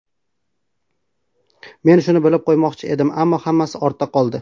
Men shuni bildirib qo‘ymoqchi edim, ammo hammasi ortda qoldi.